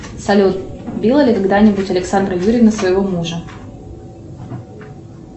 салют била ли когда нибудь александра юрьевна своего мужа